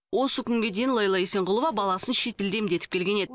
осы күнге дейін лейла исенғұлова баласын шетелде емдетіп келген еді